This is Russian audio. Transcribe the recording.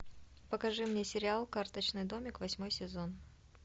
покажи мне сериал карточный домик восьмой сезон